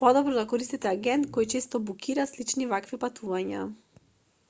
подобро да користите агент кој често букира слични вакви патувања